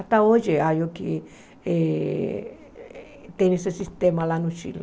Até hoje, aí o que eh tem esse sistema lá no Chile.